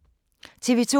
TV 2